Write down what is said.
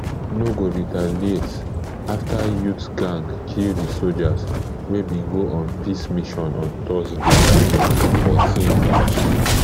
no go retaliate afta youth gang kill di sojas wey bin go on peace mission on thursday fourteen march